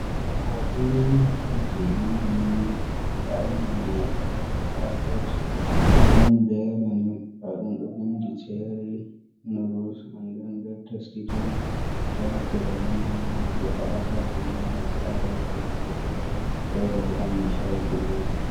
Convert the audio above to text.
Ɗo hoto je indomi, nda imdomi mai ɗo ha nder packet green be yalo, nda ɗum ɗo vindi chery noduls, and nden be testi tom, ɗo naftira be indomi mai defa ha saare nyama, sa'a be geraɗe fere, fere bo ha mai shayi defata.